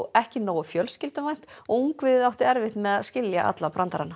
ekki nógu fjölskylduvænt og ungviðið átti erfitt með að skilja alla brandarana